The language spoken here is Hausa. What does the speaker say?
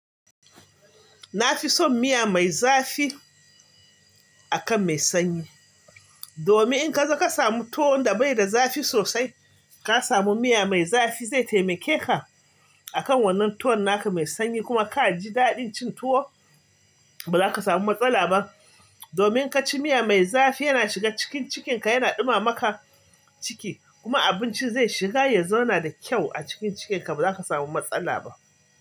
Na fi son miya mai zafi akan mai sanyi. Domin in kazi ka samu tuwon da bai da zafi sosai, ka samu miya mai zafi, zai taimake ka akan wannan tuwo naka mai sanyi kuma ka ji daɗin cin tuwo ba za ka samu matsala ba. Domin in ka ci miya mai zafi yana shiga cikin cikinka yana ɗuma maka ciki kuma abinci zai shiga ya zauna da kyau a cikin cikinka ba za ka samu matsala ba.